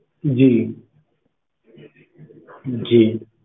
ਜੀ ਜੀ